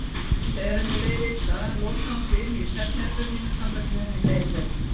Þegar henni leið illa lokaði hún sig inni í svefnherberginu þangað til henni leið betur.